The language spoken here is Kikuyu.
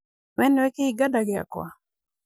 we nĩwe kĩhinga da gĩakwa?